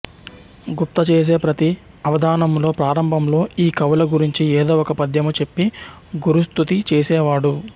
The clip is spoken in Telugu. గుప్త చేసే ప్రతి అవధానంలో ప్రారంభంలో ఈ కవుల గురించి ఏదో ఒక పద్యము చెప్పి గురుస్తుతి చేసేవాడు